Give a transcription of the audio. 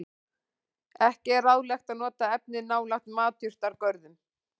Ekki er ráðlegt að nota efnið nálægt matjurtagörðum.